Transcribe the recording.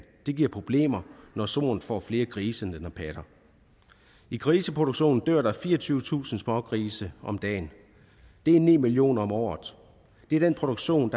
det giver problemer når soen får flere grise end den har patter i griseproduktionen dør der fireogtyvetusind smågrise om dagen det er ni millioner om året det er den produktion